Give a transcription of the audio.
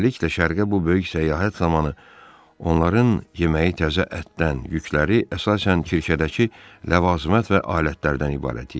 Beləliklə şərqə bu böyük səyahət zamanı onların yeməyi təzə ətdən, yükləri əsasən Kirkədəki ləvazımat və alətlərdən ibarət idi.